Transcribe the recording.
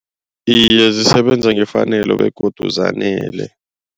Iye zisebenza ngefanelo begodu zanele.